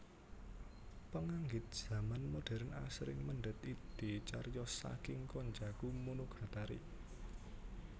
Penganggit zaman modern asring mendhet idé cariyos saking Konjaku Monogatari